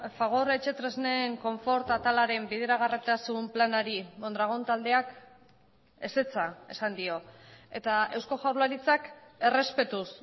fagor etxetresnen konfort atalaren bideragarritasun planari mondragon taldeak ezetza esan dio eta eusko jaurlaritzak errespetuz